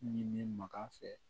Ɲini maga fɛ